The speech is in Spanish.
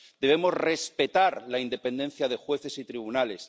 Debemos respetar la independencia de jueces y tribunales.